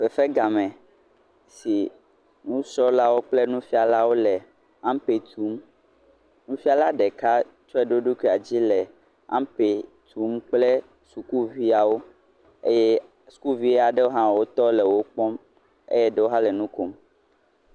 Fefe game si nufialawo kple nusrɔlawo le ampe tsom nufiala ɖeka tsɔe ɖo eɖokuidzi le ampe tsom kple sukuviawo eye sukuvi aɖewo tɔ le nukpɔm eye ɖewo ha le nukom